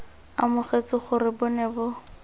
amogetse gore bo ne bo